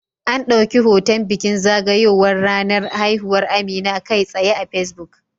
An dauki hoton bikin zagayowar ranar haihuwar Amina kai tsaye a Facebook